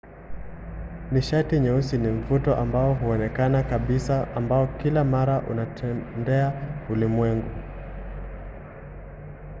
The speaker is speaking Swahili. nishati nyeusi ni mvuto ambao hauonekani kabisa ambao kila mara unatendea ulimwengu